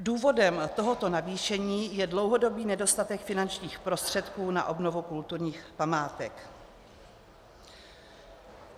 Důvodem tohoto navýšení je dlouhodobý nedostatek finančních prostředků na obnovu kulturních památek.